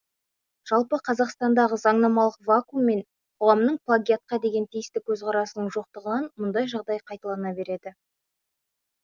жалпы қазақстандағы заңнамалық вакуум мен қоғамның плагиатқа деген тиісті көзқарасының жоқтығынан мұндай жағдай қайталана береді